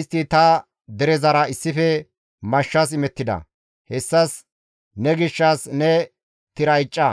istti ta derezara issife mashshas imettida; hessas ne gishshas ne tira icca.